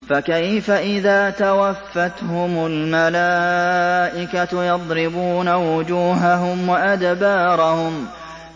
فَكَيْفَ إِذَا تَوَفَّتْهُمُ الْمَلَائِكَةُ يَضْرِبُونَ وُجُوهَهُمْ وَأَدْبَارَهُمْ